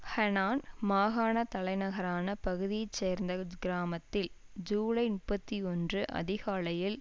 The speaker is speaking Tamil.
ஹெனான் மாகாண தலைநகரான பகுதியைச்சேர்ந்த கிராமத்தில் ஜூலை முப்பத்தி ஒன்று அதிகாலையில்